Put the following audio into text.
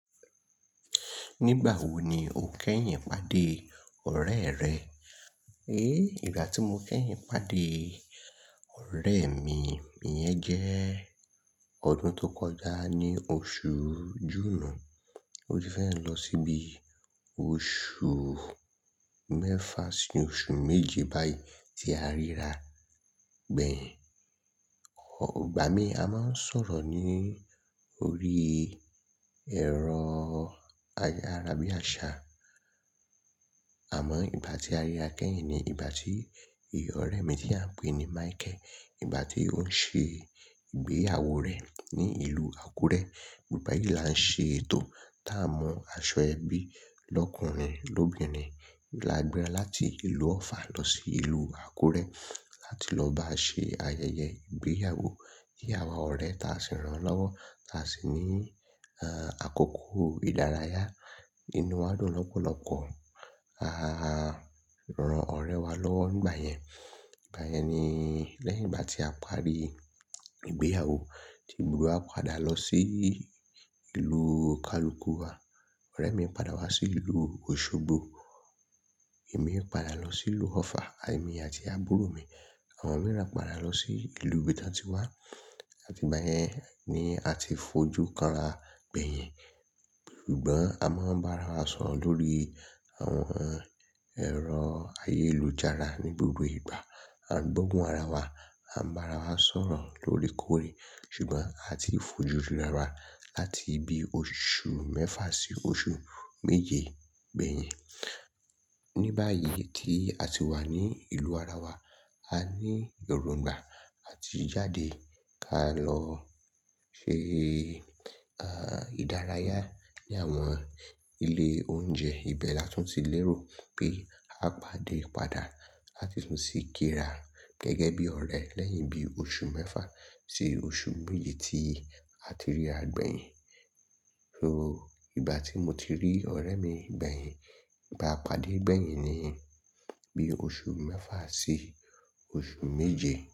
Nígbà wo ni o kẹ́yìn pàdé ọ̀rẹ́ rẹ? E, ìgbà tí mo kẹ́yìn pàdé ọ̀rẹ́ mi, ìyẹn jẹ́ ọdún tó kọjá ní oṣù Júùnù. Ó ti fẹ́ lọ síbi oṣù mẹ́fà sí oṣù méje báyìí tí a ríra gbẹ̀yìn. Igba mi a máa ń sọ̀rọ̀ ní orí ẹ̀rọ ayárabíàṣá. Àmọ́ ìgbà tí a ríra kẹ́yìn ni ìgbà tí eyi ọ̀rẹ́ mi tí a ń pè ní Michael, ìgbà tí ó ń ṣe ìgbéyàwó rẹ̀ ní ìlú Àkúrẹ́. Nígbà yí là ń ṣe ètò tá a mu aṣọ ẹbí lọ́kùnrin lóbìnrin. La gbera láti ìlú Ọ̀fà lọ sí ìlú Àkúrẹ́ láti lọ bá ṣe ayẹyẹ ìgbéyàwó iyen àwa ọ̀rẹ́ ta sì rán lọ́wọ́ ta sì ní àkókò ìdárayá. Inú wa dùn lọ́pọ̀lọ́pọ̀. A rán ọ̀rẹ́ wa lọ́wọ́ nígbà yẹn. Nígbà yẹn ni lẹ́yìn ìgbà tí a parí ìgbéyàwó tí gbogbo wa padà lọ sí ìlú onikaluku wa. Ọ̀rẹ́ mi padà wá sí ìlú Osogbo. Èmi padà lọ sí ìlú Ọ̀fà. Èmi àti àbúrò mi, àwọn mìíràn padà lọ sí ìlú ibi tí wọ́n ti wá. Àti ìgbà yẹn ni a ti fojú kanra gbẹ̀yìn. Ṣùgbọ́n a máa ń bá ara wa sọ̀rọ̀ lórí àwọn ẹ̀rọ ayélujára ní gbogbo ìgbà. A gbóhun ara wa, a n bá ara wa sọ̀rọ̀ lórekóore. Ṣùgbọ́n a ti fojú rira wa láti bi oṣù mẹ́fà sí oṣù méje gbẹ̀yìn. Ní báyìí tí a ti wà ní ìlú ara wa, a ní èròǹgbà láti jáde ká lọ ṣe ìdárayá ní àwọn ilé oúnjẹ. Ìbẹ láti tún ti lérò pé ka pàdé padà láti tún sì kíra gẹ́gẹ́ bí ọ̀rẹ́ lẹ́yìn bí oṣù mẹ́fà sí oṣù méje tí a ti ríra gbẹ̀yìn. So ìgbà tí mo ti rí ọ̀rẹ́ mi gbẹ̀yìn, ìgbà a pàdé gbẹ̀yìn niyen, bí oṣù mẹ́fà sí oṣù méje.